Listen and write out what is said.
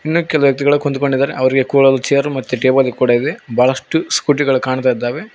ಇನ್ ಕೆಲ ವ್ಯಕ್ತಿಗಳು ಕುಂತ್ಕೊಂಡಿದ್ದಾರೆ ಅವರಿಗೆ ಕೂಳಲು ಚೇರ್ ಟೇಬಲ್ ಕೂಡ ಇದೆ ಬಹಳಷ್ಟು ಸ್ಕೂಟಿ ಗಳು ಕಾಣ್ತಾ ಇದಾವೆ.